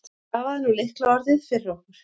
Stafaðu nú lykilorðið fyrir okkur.